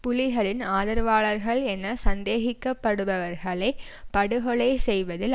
புலிகளின் ஆதரவாளர்களென சந்தேகிக்க படுபவர்களை படுகொலை செய்வதில்